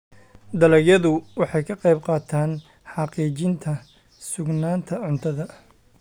dalagyadu waxay ka qaybqaataan xaqiijinta sugnaanta cuntada.